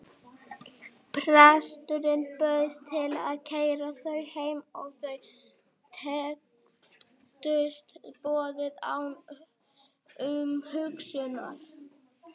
Presturinn bauðst til að keyra þau heim og þau þekktust boðið án umhugsunar.